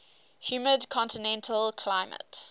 humid continental climate